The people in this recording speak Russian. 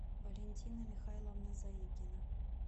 валентина михайловна заикина